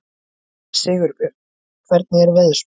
Sigurbjörn, hvernig er veðurspáin?